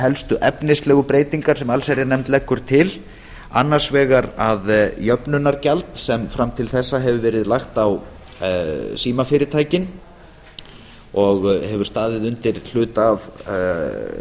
helstu efnislegu breytingar sem allsherjarnefnd leggur til annars vegar að jöfnunargjald sem fram til þessa hefur verið lagt á símfyrirtækin og hefur staðið undir hluta af